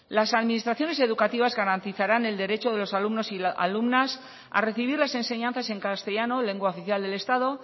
las administraciones educativas garantizarán el derecho de los alumnos y alumnas a recibir las enseñanzas en castellano lengua oficial del estado